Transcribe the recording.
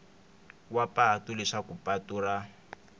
wa patu leswaku patu ra